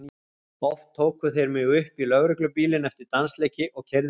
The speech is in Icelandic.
Oft tóku þeir mig upp í lögreglubílinn eftir dansleiki og keyrðu mig heim.